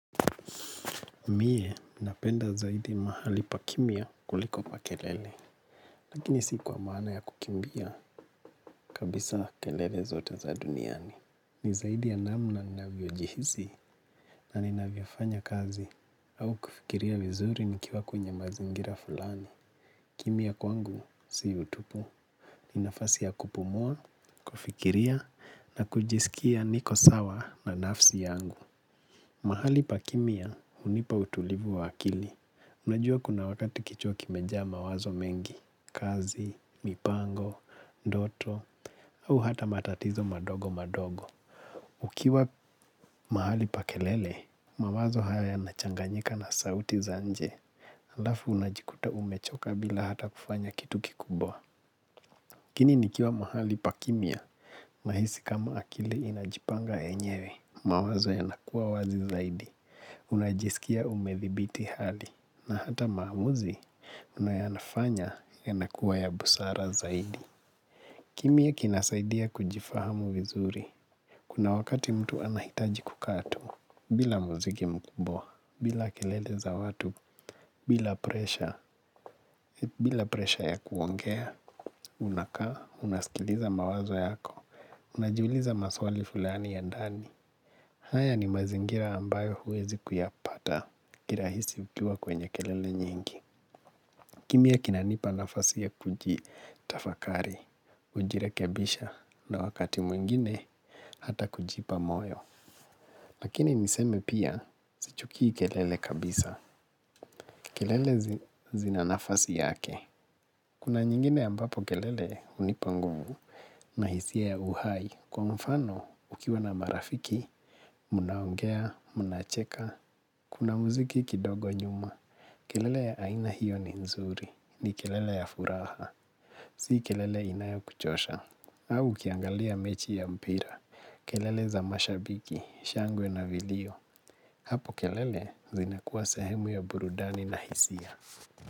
Miye, napenda zaidi mahali pakimya kuliko pa kelele. Lakini si kwa maana ya kukimbia kabisa kelele zote za duniani. Ni zaidi ya namna ninavyojihisi na ninavyofanya kazi au kufikiria vizuri nikiwa kwenye mazingira fulani. Kimya kwangu si utupu. Ni nafasi ya kupumua, kufikiria na kujisikia niko sawa na nafsi yangu. Mahali pakimya hunipa utulivu wa akili. Unajua kuna wakati kichwa kimejaa mawazo mengi, kazi, mipango, doto, au hata matatizo madogo madogo. Ukiwa mahali pa kelele, mawazo haya yanachanganyika na sauti za nje. Halafu unajikuta umechoka bila hata kufanya kitu kikubwa. Lakini nikiwa mahali pa kimya, nahisi kama akili inajipanga yenyewe. Mawazo yanakua wazi zaidi. Unajisikia umedhibiti hali. Na hata maamuzi, unayoyafanya yanakuwa ya busara zaidi. Kimya kinasaidia kujifahamu vizuri. Kuna wakati mtu anahitaji kukaa tu. Bila muziki mkubwa, bila kelele za watu bila presha, bila presha ya kuongea. Unakaa, unasikiliza mawazo yako. Unajiuliza maswali fulani ya dani. Haya ni mazingira ambayo huwezi kuyapata kirahisi ukiwa kwenye kelele nyingi. Kimya kinanipa nafasi ya kujitafakari, kujirekebisha na wakati mwingine hata kujipa moyo. Lakini niseme pia, sichukii kelele kabisa. Kelele zina nafasi yake. Kuna nyingine ambapo kelele hunipa nguvu na hisia ya uhai. Kwa mfano, ukiwa na marafiki, munaongea, munaacheka, kuna muziki kidogo nyuma. Kelele ya aina hiyo ni nzuri, ni kelele ya furaha. Si kelele inayo kuchosha, au ukiangalia mechi ya mpira. Kelele za mashabiki, shangwe na vilio. Hapo kelele zinakuwa sehemu ya burudani na hisia.